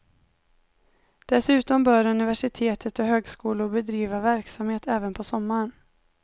Dessutom bör universitet och högskolor bedriva verksamhet även på sommaren.